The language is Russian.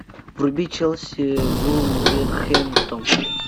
вруби челси вулверхэмптон